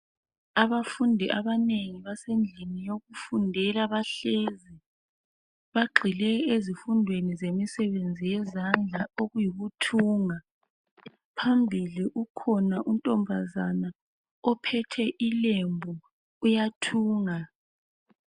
Abafundi abanengi basendlini yokufundela bahlezi. Bagxile ezifundweni zemisebenzi yezandla okuyikuthunga. Phambili ukhona untombazana ophethe ilembu uyathunga.